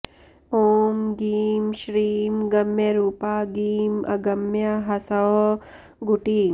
ॐ गीं श्रीं गम्यरूपा गीं अगम्या ह्सौः गुटी